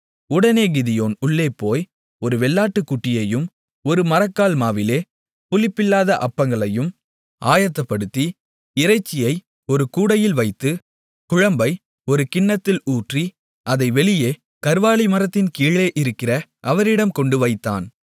உடனே கிதியோன் உள்ளே போய் ஒரு வெள்ளாட்டுக்குட்டியையும் ஒரு மரக்கால் மாவிலே புளிப்பில்லாத அப்பங்களையும் ஆயத்தப்படுத்தி இறைச்சியை ஒரு கூடையில் வைத்து குழம்பை ஒரு கிண்ணத்தில் ஊற்றி அதை வெளியே கர்வாலி மரத்தின் கீழே இருக்கிற அவரிடம் கொண்டுவந்து வைத்தான்